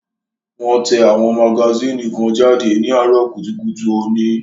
Wón tẹ àwọn magasínì kan jáde ní àárọ̀ kùtùkùtù òní